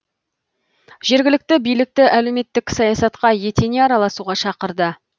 жергілікті билікті әлеуметтік саясатқа етене араласуға шақырды